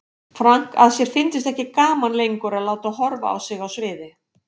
Frank að sér fyndist ekki gaman lengur að láta horfa á sig á sviði.